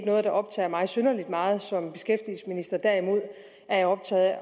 noget der optager mig synderlig meget som beskæftigelsesminister derimod er jeg optaget af